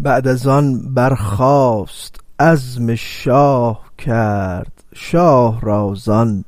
بعد از آن برخاست و عزم شاه کرد شاه را زان